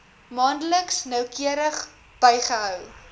maandeliks noukeurig bygehou